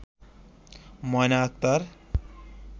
Moyna Akter